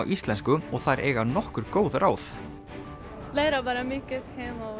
íslensku og þær eiga nokkur góð ráð læra bara mikið heima